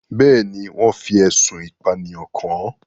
Bẹ́ẹ̀ ni, wọ́n fi ẹ̀sùn ìpànìyàn kàn án.